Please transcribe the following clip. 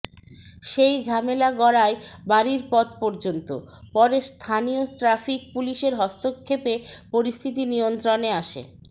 সেই ঝামেলা গড়ায় বাড়ির পথ পর্যন্ত পরে স্থানীয় ট্রাফিক পুলিশের হস্তক্ষেপে পরিস্থিতি নিয়ন্ত্রণে আসে